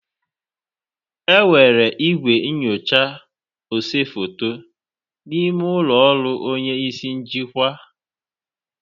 Enwere igwe nyochaa ose foto n'ime ụlọ ọrụ onye isi njikwa.